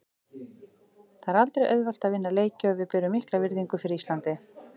Það er aldrei auðvelt að vinna leiki og við berum mikla virðingu fyrir Íslandi.